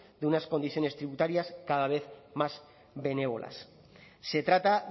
de unas condiciones tributarias cada vez más benévolas se trata